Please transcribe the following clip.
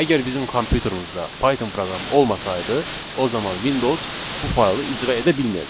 Əgər bizim kompyuterimizdə Python proqramı olmasaydı, o zaman Windows bu faylı icra edə bilməyəcəkdi.